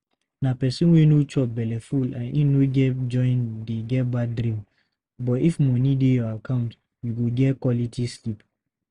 Na pesin wey no chop belleful and im no get join dey get bad dream. But if money dey your account you go get quality sleep.